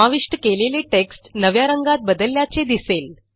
समाविष्ट केलेले टेक्स्ट नव्या रंगात बदलल्याचे दिसेल